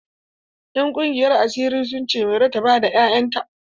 Ƴan ƙungiyar asiri sun ce Mairo ta bada 'ya'yan ta.